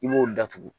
I b'o datugu